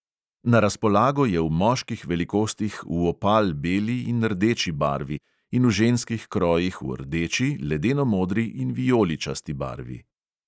Na razpolago je v moških velikostih v opal beli in rdeči barvi in v ženskih krojih v rdeči, ledeno modri in vijoličasti barvi.